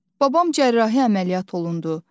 Babam cərrahi əməliyyat olundu.